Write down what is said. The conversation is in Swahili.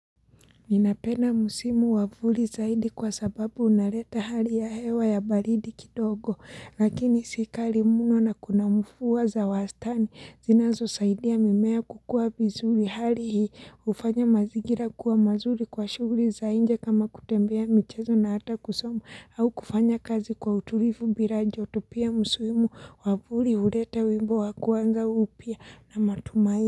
Ninapenda musimu wavuli zaidi kwa sababu unareta hali ya hewa ya balidi kidogo lakini sikali muno na kuna mfuwa za wastani zinazo saidia mimea kukua vizuri hali hii ufanya mazigira kuwa mazuri kwa shuguri za inje kama kutembea michezo na hata kusoma au kufanya kazi kwa utulifu bila joto pia musuimu wavuli uleta wimbo wakuanza upia na matumai.